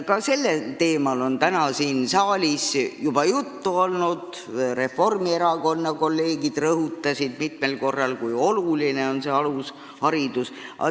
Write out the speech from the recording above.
Ka sellest teemast on täna siin saalis juba juttu olnud: Reformierakonna kolleegid rõhutasid mitu korda, kui oluline on alusharidus.